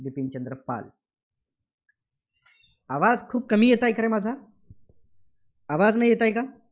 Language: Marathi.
बिपिनचंद्र पाल. आवाज खूप कमी येतोयं का रे माझा? आवाज नाही येतायं का?